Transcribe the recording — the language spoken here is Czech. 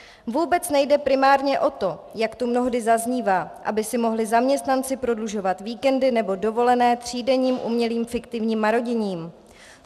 Vůbec nejde primárně o to, jak tu mnohdy zaznívá, aby si mohli zaměstnanci prodlužovat víkendy nebo dovolené třídenním umělým fiktivním maroděním.